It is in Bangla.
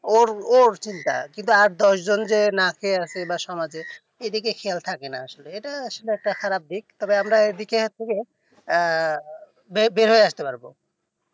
ওর ওর চিন্তা কিন্তু আর দশজন যে না খেয়ে আছে বা সমাজে এইদিকে খেয়াল থাকে না আসলে সেটা আসলে খারাপ দিক তবে আমরা এইদিকে একটু আহ বেরিয়ে আস্তে পারবো